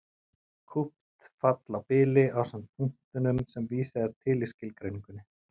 Kúpt fall á bili ásamt punktunum sem vísað er til í skilgreiningunni.